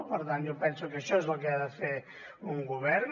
per tant jo penso que això és el que ha de fer un govern